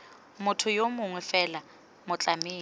motho yo mongwe fela motlamedi